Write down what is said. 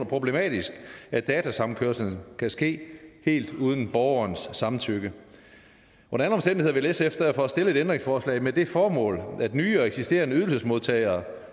problematisk at datasamkørslen kan ske helt uden borgerens samtykke under alle omstændigheder vil sf derfor stille et ændringsforslag med det formål at nye og eksisterende ydelsesmodtagere